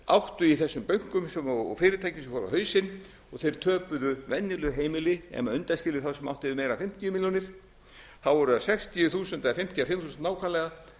áttu í þessum bönkum og fyrirtækjum sem fóru á hausinn og þeir töpuðu venjuleg heimili ef maður undanskilur þá sem áttu meira en fimmtíu milljónir þá voru það sextíu þúsund eða fimmtíu og fimm þúsund nákvæmlega